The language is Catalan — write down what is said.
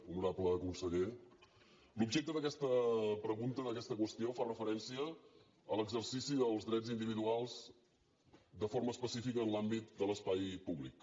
honorable conseller l’objecte d’aquesta pregunta d’aquesta qüestió fa referència a l’exercici dels drets individuals de forma específica en l’àmbit de l’espai públic